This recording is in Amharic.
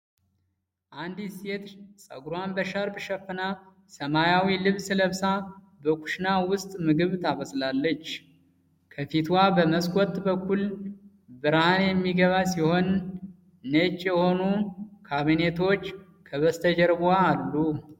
አንዲት ሴት ፀጉሯን በሻርፕ ሸፍና ሰማያዊ ልብስ ለብሳ በኩሽና ውስጥ ምግብ ታበስላለች። ከፊትዋ በመስኮት በኩል ብርሃን የሚገባ ሲሆን፣ ነጭ የሆኑ ካቢኔቶች ከበስተጀርባዋ አሉ።